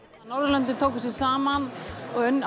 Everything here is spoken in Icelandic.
Norðurlöndin tóku sig saman og